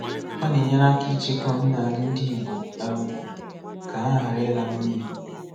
Ọ na-enyere aka ichekwa omenala ndị Igbo um ka ha ghara ịla n’iyi.